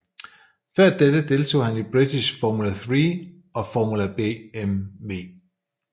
Før dette deltog han i British Formula Three og Formula BMW